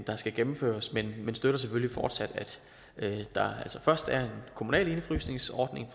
der skal gennemføres men vi støtter selvfølgelig fortsat at der altså først er en kommunal indefrysningsordning